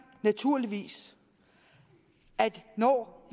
naturligvis at der